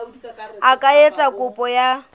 a ka etsa kopo ya